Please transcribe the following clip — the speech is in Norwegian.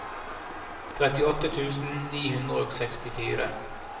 trettiåtte tusen ni hundre og sekstifire